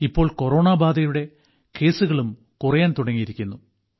ഇപ്പോൾ കൊറോണബാധയുടെ കേസുകളും കുറയാൻ തുടങ്ങിയിരിക്കുന്നു